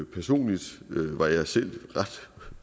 personligt var jeg selv ret